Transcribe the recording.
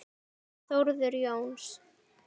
Þórður Jóns